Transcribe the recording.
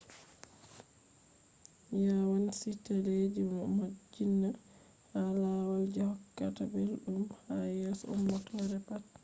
yawanci teleji no modjinna ha lawal je hokkata ɓelɗum ha yeso ummatore pat